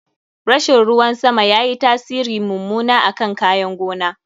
Rashin ruwan sama yayi tasiri mummuna akan kayan gona.